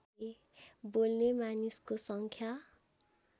बोल्ने मानिसको सङ्ख्या